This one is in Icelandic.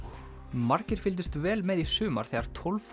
margir fylgdust vel með í sumar þegar tólf